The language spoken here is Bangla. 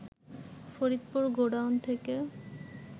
ফরিদপুর গোডাউন থেকে